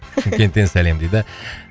шымкенттен сәлем дейді